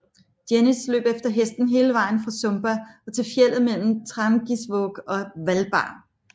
Jenis løb efter hesten hele vejen fra Sumba og til fjeldet mellem Trangisvåg og Hvalba